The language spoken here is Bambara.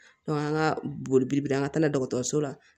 an ka boli an ka taa na dɔgɔtɔrɔso la